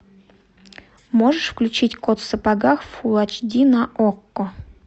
можешь включить кот в сапогах фулл эйч ди на окко